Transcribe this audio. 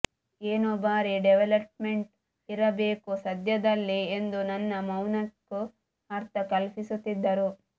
ಏನೋ ಭಾರೀ ಡೆವಲಪಮೆಂಟ್ ಇರಬೇಕು ಸದ್ಯದಲ್ಲೇ ಎಂದು ನನ್ನ ಮೌನಕ್ಕೂ ಅರ್ಥ ಕಲ್ಪಿಸುತ್ತಿದ್ದರು